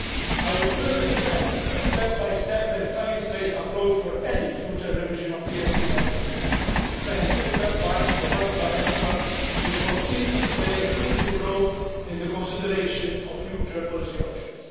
I will firmly defend a step by step and science based approach for any future revision of TSE measures the scientific advice provided by EFSA will continue to play a crucial role in the consideration of future policy options.